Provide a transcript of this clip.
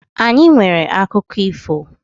Anyi nwere akụkụ ifo.